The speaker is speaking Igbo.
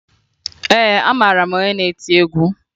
Ee, amara m onye na-eti egwu